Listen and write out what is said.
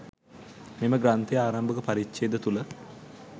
මෙම ග්‍රන්ථයේ ආරම්භක පරිච්ඡේද තුළ